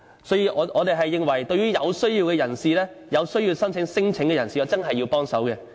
所以，我們認為對於真正需要申請聲請的人士，我們一定要協助。